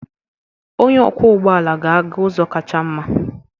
Onye ọkwọ ụgbọ ala ga-aga ụzọ kacha mma.